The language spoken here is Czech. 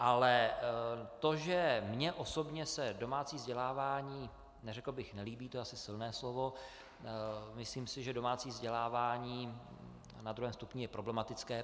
Ale to, že mně osobně se domácí vzdělávání - neřekl bych nelíbí, to je asi silné slovo, myslím si, že domácí vzdělávání na druhém stupni je problematické.